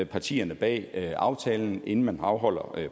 partierne bag aftalen inden man afholder